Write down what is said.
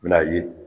I bi n'a ye